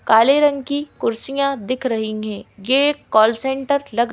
काले रंग की कुर्सियां दिख रही हैं यह एक कॉल सेंटर लग--